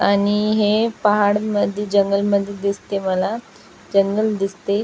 आणि हे पहाड मध्ये जंगलमध्ये दिसतय मला जंगल दिसतय.